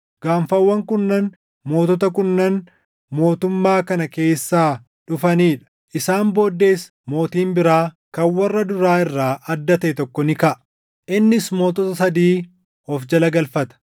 Gaanfawwan kurnan mootota kurnan mootummaa kana keessaa dhufanii dha. Isaan booddees mootiin biraa kan warra duraa irraa adda taʼe tokko ni kaʼa; innis mootota sadii of jala galfata.